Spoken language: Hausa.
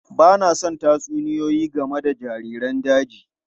Ba na son tatsuniyoyi game da jariran daji.